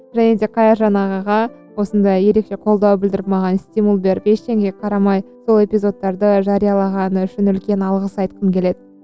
және де қайыржан ағаға осындай ерекше қолдау білдіріп маған стимул беріп ештеңеге қарамай сол эпизодттарды жариялағаны үшін үлкен алғыс айтқым келеді